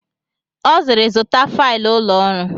Ọ sịịrị, zụta failụ ụlọ ọrụ!